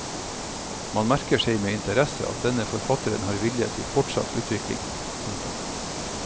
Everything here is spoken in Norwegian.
Man merker seg med interesse at denne forfatteren har vilje til fortsatt utvikling. punktum